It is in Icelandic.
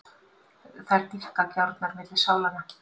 Þær dýpka gjárnar milli sálanna.